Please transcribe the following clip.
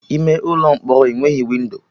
Ime ụlọ mkpọrọ enweghị windo